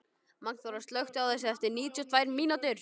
Magnþóra, slökktu á þessu eftir níutíu og tvær mínútur.